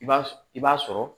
I b'a s i b'a sɔrɔ